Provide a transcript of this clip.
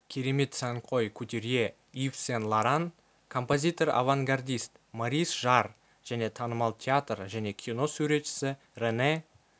керемет сәнқой кутюрье ив сен-лоран композитор-авангардист морис жарр және танымал театр және кино суретшісі рене